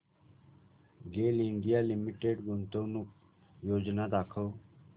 गेल India limited गुंतवणूक योजना दाखव